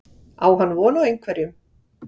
Á hann von á einhverjum?